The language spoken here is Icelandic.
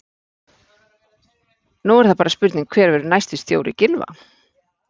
Nú er það bara spurning hver verður næsti stjóri Gylfa?